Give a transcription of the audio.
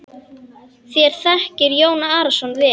Þér þekkið Jón Arason vel.